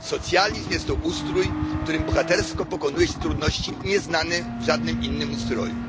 Socjalizm jest to ustrój, w którym bohatersko pokonuje się trudności nieznane w żadnym innym ustroju.